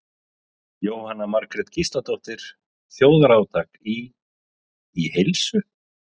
Jóhanna Margrét Gísladóttir: Þjóðarátak í, í heilsu?